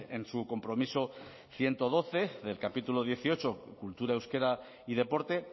en su compromiso ciento doce del capítulo dieciocho cultura euskera y deporte